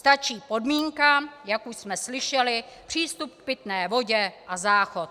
Stačí podmínka, jak už jsme slyšeli, přístup k pitné vodě a záchod.